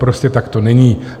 Prostě tak to není.